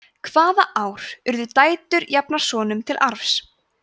hvaða ár urðu dætur jafnar sonum til arfs